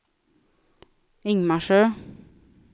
Ingmarsö